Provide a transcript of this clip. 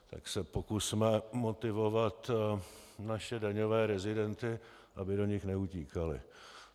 Tak se pokusme motivovat naše daňové rezidenty, aby do nich neutíkali.